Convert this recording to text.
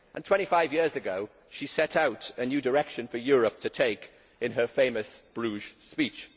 Twenty five years ago, she set out a new direction for Europe to take in her famous Bruges speech.